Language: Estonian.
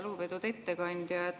Lugupeetud ettekandja!